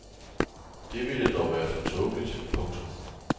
Det ville dog være for tåbeligt. punktum